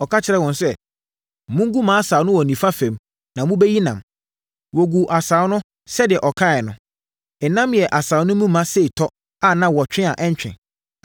Ɔka kyerɛɛ wɔn sɛ, “Mongu mo asau no wɔ nifa fam na mobɛyi nam.” Wɔguu asau no sɛdeɛ ɔkaeɛ no. Nam yɛɛ asau no ma sei tɔ a na wɔtwe a ɛntwe.